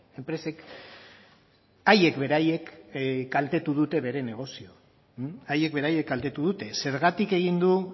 enpresek haiek beraiek kaltetu dute bere negozioa haiek beraiek kaltetu dute zergatik egin du